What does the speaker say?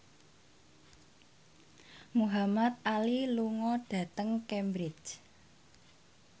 Muhamad Ali lunga dhateng Cambridge